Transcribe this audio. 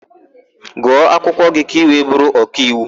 Gụọ akwụkwọ gị ka ị wee bụrụ ọkaiwu!